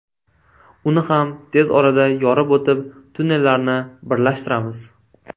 Uni ham tez orada yorib o‘tib, tunnellarni birlashtiramiz”.